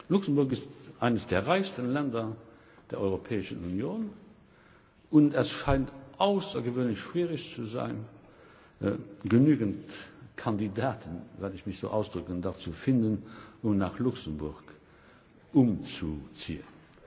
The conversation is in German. Luxemburg ist eines der reichsten Länder der Europäischen Union, und es scheint außergewöhnlich schwierig zu sein, genügend Kandidaten wenn ich mich so ausdrücken darf zu finden, um nach Luxemburg umzuziehen.